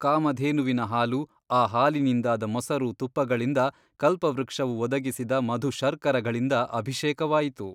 ಕಾಮಧೇನುವಿನ ಹಾಲು ಆ ಹಾಲಿನಿಂದಾದ ಮೊಸರು ತುಪ್ಪಗಳಿಂದ ಕಲ್ಪವೃಕ್ಷವು ಒದಗಿಸಿದ ಮಧುಶರ್ಖರಗಳಿಂದ ಅಭಿಷೇಕವಾಯಿತು.